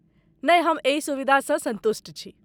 नहि, हम एहि सुविधासँ सन्तुष्ट छी।